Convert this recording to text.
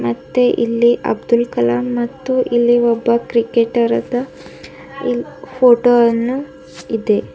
ಮತ್ತು ಇಲ್ಲಿ ಅಬ್ದುಲ್ ಕಲಾಂ ಮತ್ತು ಇಲ್ಲಿ ಒಬ್ಬ ಕ್ರಿಕೇಟರ್ದು ಪೋಟೋವನ್ನು ಇದೆ.